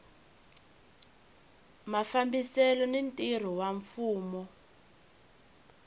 mafambisele ni ntirho wa mfumo